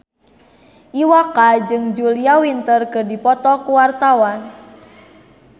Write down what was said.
Iwa K jeung Julia Winter keur dipoto ku wartawan